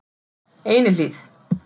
Einihlíð